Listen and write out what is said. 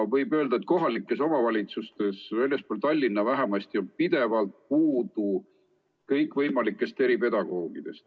Võib öelda, et kohalikes omavalitsustes, väljaspool Tallinna vähemasti, on pidevalt puudu kõikvõimalikest eripedagoogidest.